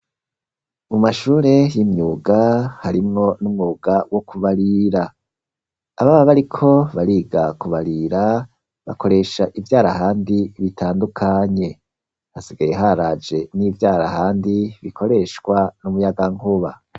Mu mashure y'imyuga, harimwo n'umwuga wo kubarira; ababa bariko bariga kubarira, bakoresha ivyarahandi bitandukanye; hasigaye haraje n'ivyarahandi, bikoreshwa n’umuyagankuba.